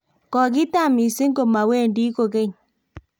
kokitam mising komawendi kokeny